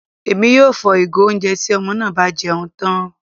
Èmí yóò fò igo oúnjẹ tí ọmọ náà bá jẹun tán